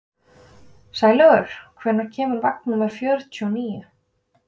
Sælaugur, hvenær kemur vagn númer fjörutíu og níu?